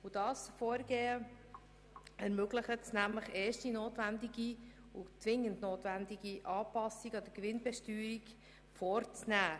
Dieses Vorgehen ermöglicht, erste und zwingend notwendige Massnahmen an der Gewinnbesteuerung vorzunehmen.